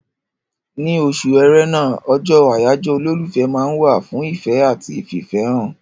Ní oṣù Ẹrẹ́nà, ọjọ́ àyájọ́ olólùfẹ́ ma wà fún ìfẹ́ àti fìfẹ́án